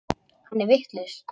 Hann er vitlaus.